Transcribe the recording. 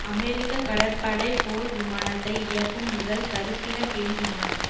அமெரிக்க கடற்படை போர் விமானத்தை இயக்கும் முதல் கருப்பின பெண் விமானி